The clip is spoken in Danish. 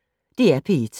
DR P1